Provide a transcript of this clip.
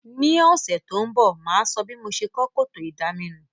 Ní òsẹ̀ to n bò, máa so bí mo se kó kòtò ìdaminù